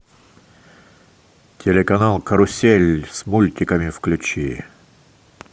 телеканал карусель с мультиками включи